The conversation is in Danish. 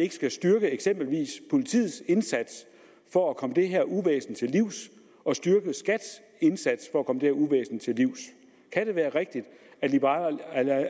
ikke skal styrke politiets indsats for at komme det her uvæsen til livs og styrke skats indsats for at komme det her uvæsen til livs kan det være rigtigt at liberal